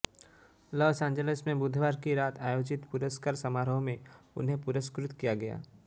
लास Angeles में बुधवार की रात आयोजित पुरस्कार समारोह में उन्हें पुरस्कृ त किया गया